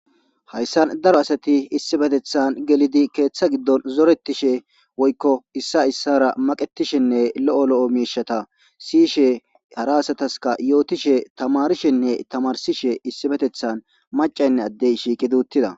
hayssan daro asati issibetethan gelidi keeththa giddon zorettishe woykko issa issara maqetishenne lo7o lo7o miishata siyishe hara asataska yootishe tamarishenne tamarsishe issibetethan macaynne addey shiikiduuttida